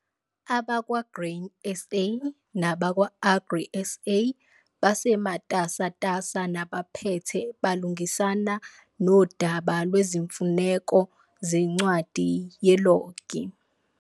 AbakwaGrain SA nabakwa-Agri SA basematasatasa nabaphethe balungisana nodaba lwezimfuneko zencwadi yelogi.